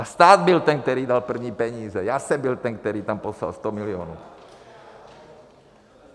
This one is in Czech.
A stát byl ten, který dal první peníze, já jsem byl ten, který tam poslal 100 milionů.